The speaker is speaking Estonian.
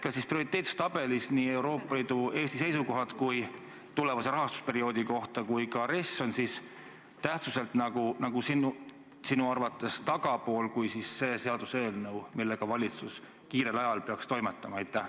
Kas siis prioriteetsustabelis nii Eesti seisukohad Euroopa Liidu tulevase rahastusperioodi kohta kui ka RES on tähtsuselt sinu arvates tagapool kui see seaduseelnõu, millega valitsus kiirel ajal peaks toimetama?